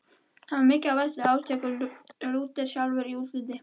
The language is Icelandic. Hann var mikill á velli, áþekkur Lúter sjálfum í útliti.